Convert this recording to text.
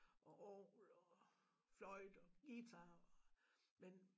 Og orgel og føjte og guitar men